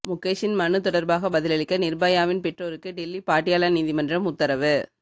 முகேஷின் மனு தொடர்பாக பதிலளிக்க நிர்பயாவின் பெற்றோருக்கு டெல்லி பாட்டியாலா நீதிமன்றம் உத்தரவு